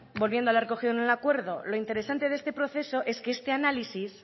volviendo a lo recogido en el acuerdo lo interesante de este proceso es que este análisis